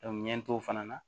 ɲɛ to o fana na